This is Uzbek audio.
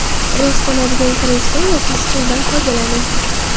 Rostlanadigan kreslo yoki stuldan foydalaning.